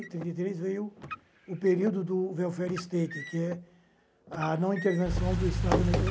Depois, em trinta e três, veio o período do welfare state, que é a intervenção do Estado na economia.